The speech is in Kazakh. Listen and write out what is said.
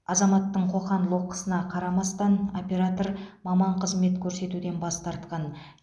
азаматтың қоқан лоққысына қарамастан оператор маман қызмет көрсетуден бас тартқан